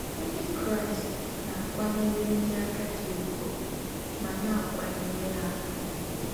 Ndị Kraịst na-akwanyere ndị agadi ùgwù ma na-akwanyere ha ùgwù